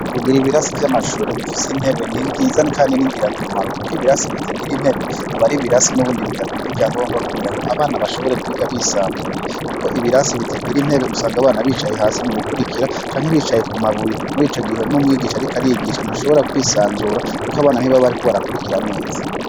Kugira ibirasi vy'amashure bifise intebe, ni nziza kandi ni ngirakamaro. Kuko ibirasi bitagira intebe aba ari ibirasi n'ubundi bidakwije ivyangombwa kugira ngo abana babashe kwiga bisanzuye. Kuko ibirasi bitagira intebe usanga abana bicaye hasi mu gukurikira, canke bicaye ku mabuye. Muri ico gihe n'umwigisha ariko arigisha ntashobora kwisanzura kuko abana ntibaba bariko barakurikira neza.